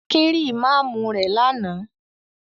Akin rí Ìmámù rẹ̀ lánàá.